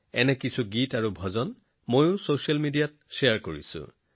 এনে কিছুমান গীত আৰু ভজন মোৰ ছচিয়েল মিডিয়াতো শ্বেয়াৰ কৰিছো